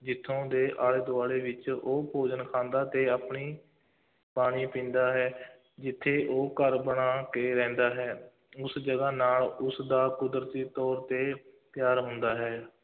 ਜਿੱਥੋਂ ਦੇ ਆਲੇ-ਦੁਆਲੇ ਵਿੱਚ ਉਹ ਭੋਜਨ ਖਾਂਦਾ ਅਤੇ ਆਪਣੀ ਪਾਣੀ ਪੀਂਦਾ ਹੈ ਜਿੱਥੇ ਉਹ ਘਰ ਬਣਾ ਕੇ ਰਹਿੰਦਾ ਹੈ, ਉਸ ਜਗ੍ਹਾ ਨਾਲ ਉਸਦਾ ਕੁਦਰਤੀ ਤੌਰ ਤੇ ਪਿਆਰ ਹੁੰਦਾ ਹੈ,